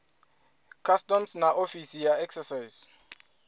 customs na ofisi ya excise